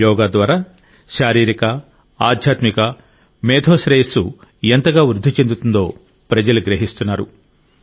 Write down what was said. యోగా ద్వారా శారీరక ఆధ్యాత్మిక మేధో శ్రేయస్సు ఎంతగా వృద్ధి చెందుతుందో ప్రజలు గ్రహిస్తున్నారు